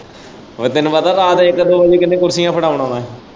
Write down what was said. ਉਹ ਤੈਨੂੰ ਪਤਾ ਰਾਤ ਇੱਕ ਵਜੇ ਕਿਹਨੇ ਕੁਰਸੀਆਂ ਫੜਾਉਣ ਆਉਣਾ।